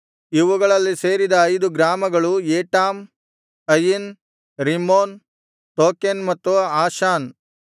ಇವುಗಳಲ್ಲಿ ಸೇರಿದ ಐದು ಗ್ರಾಮಗಳು ಏಟಾಮ್ ಅಯಿನ್ ರಿಮ್ಮೋನ್ ತೋಕೆನ್ ಮತ್ತು ಆಷಾನ್